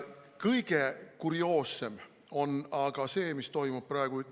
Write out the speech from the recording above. Kõige kurioossem on aga see, mis toimub Tiibetis praegu.